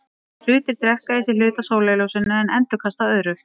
Hlutir drekka í sig hluta af sólarljósinu en endurkasta öðru.